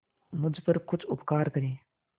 मुझ पर कुछ उपकार करें